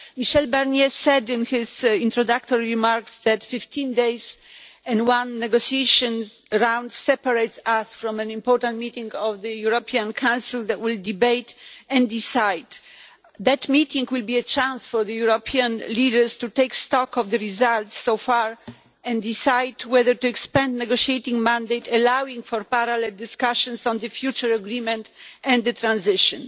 Michel Barnier said in his introductory remarks that 15 days and one negotiation round separate us from an important meeting of the European Council that will debate and decide. That meeting will be a chance for the European leaders to take stock of the results so far and decide whether to expand the negotiating mandate, allowing for parallel discussions on the future agreement and the transition.